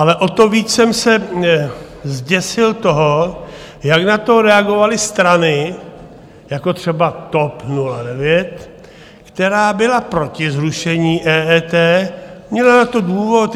Ale o to víc jsem se zděsil toho, jak na to reagovaly strany jako třeba TOP 09, která byla proti zrušení EET, měla na to důvod.